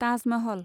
Taj Mahal